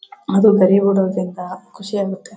ಅದು ಬೆಲೆ ಬಾಳೋದ್ರಿಂದ ಖುಷಿ ಅಗುತ್ತೇ.